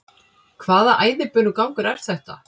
Hvaða æðibunugangur er þetta?